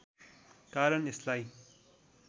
कारण यसलाई